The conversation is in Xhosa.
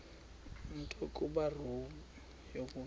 nto kubarrow yokusa